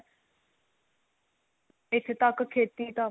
ਇੱਥੇ ਤੱਕ ਖੇਤੀ ਤਾਂ